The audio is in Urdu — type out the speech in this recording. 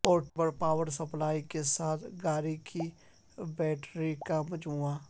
پورٹیبل پاور سپلائی کے ساتھ گاڑی کی بیٹری کا مجموعہ